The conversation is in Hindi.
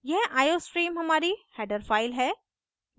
यह iostream हमारी header file है